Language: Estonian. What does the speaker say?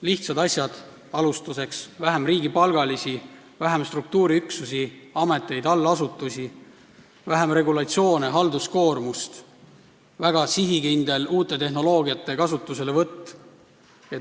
Alustuseks lihtsad asjad: vähem riigipalgalisi, vähem struktuuriüksusi, ameteid, allasutusi, vähem regulatsioone, halduskoormust, väga sihikindel uute tehnoloogiate kasutuselevõtt.